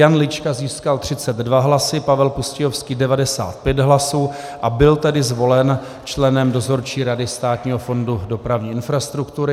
Jan Lička získal 32 hlasy, Pavel Pustějovský 95 hlasů, a byl tedy zvolen členem Dozorčí rady Státního fondu dopravní infrastruktury.